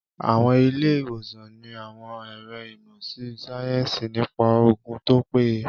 Àwọn ilé-ìwòsàn ní àwọn ẹ̀ro ìmọ̀ síáyẹ́nsì nípa oògùn tó péye